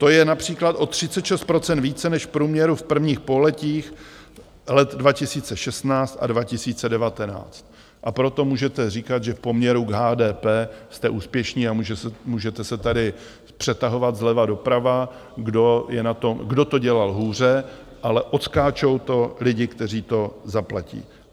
To je například o 36 % více než v průměru v prvních pololetích let 2016 a 2019, a proto můžete říkat, že v poměru k HDP jste úspěšní a můžete se tady přetahovat zleva doprava, kdo to dělal hůře, ale odskáčou to lidi, kteří to zaplatí.